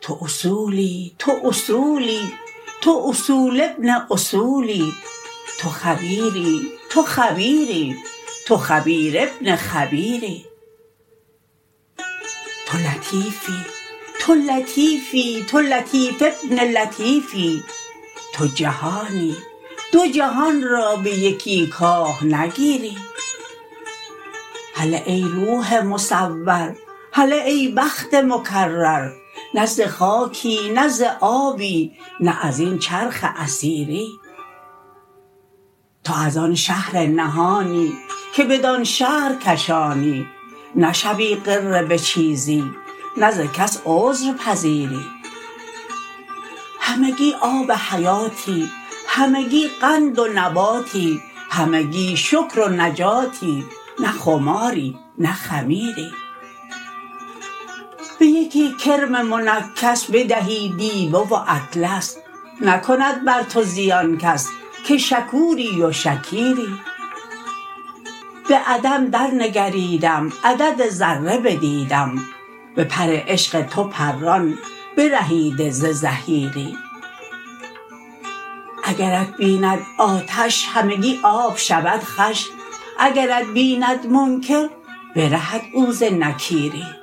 تو اصولی تو اصولی تو اصول ابن اصولی تو خبیری تو خبیری تو خبیر ابن خبیری تو لطیفی تو لطیفی تو لطیف ابن لطیفی تو جهانی دو جهان را به یکی کاه نگیری هله ای روح مصور هله ای بخت مکرر نه ز خاکی نه ز آبی نه از این چرخ اثیری تو از آن شهر نهانی که بدان شهر کشانی نشوی غره به چیزی نه ز کس عذر پذیری همگی آب حیاتی همگی قند و نباتی همگی شکر و نجاتی نه خماری نه خمیری به یکی کرم منکس بدهی دیبه و اطلس نکند بر تو زیان کس که شکوری و شکیری به عدم درنگریدم عدد ذره بدیدم به پر عشق تو پران برهیده ز زحیری اگرت بیند آتش همگی آب شود خوش اگرت بیند منکر برهد او ز نکیری